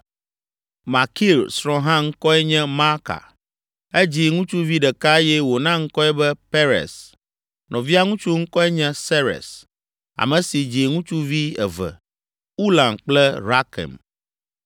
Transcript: Makir srɔ̃ hã ŋkɔe nye Maaka; edzi ŋutsuvi ɖeka eye wòna ŋkɔe be Peres; nɔvia ŋutsu ŋkɔe nye Seres, ame si dzi ŋutsuvi eve, Ulam kple Rakem.